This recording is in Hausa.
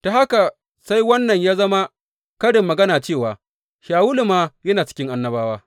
Ta haka sai wannan ya zama karin magana cewa, Shawulu ma yana cikin annabawa?